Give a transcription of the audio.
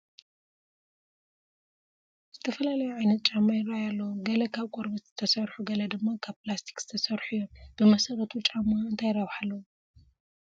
ዝተፈላለዩ ዓይነት ጫማ ይርአዩ ኣለዉ፡፡ ገለ ካብ ቆርበት ዝተሰርሑ ገለ ድማ ካብ ፕላስቲክ ዝተሰርሑ እዮም፡፡ ብመሰረቱ ጫማ እንታይ ረብሓ ኣለዎ?